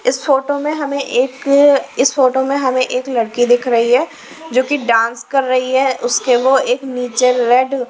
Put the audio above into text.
इस फोटो में हमें एक इस फोटो में हमें एक लड़की दिख रही ही जो कि डांस कर रही है उसके वो नीचे रेड --